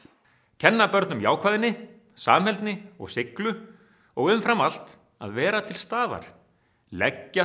kenna börnum jákvæðni samheldni og seiglu og umfram allt að vera til staðar leggja